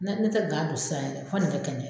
Ne ne tɛ don sisan yɛrɛ fo ni ka kɛnɛya.